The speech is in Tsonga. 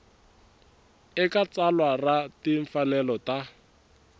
eka tsalwa ra timfanelo ta